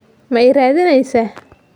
Ma i raadinaysaa?